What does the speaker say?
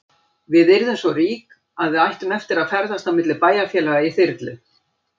Við yrðum svo rík að við ættum eftir að ferðast á milli bæjarfélaga í þyrlu.